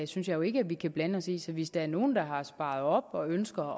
synes jeg jo ikke at vi kan blande os i så hvis der er nogen der har sparet op og ønsker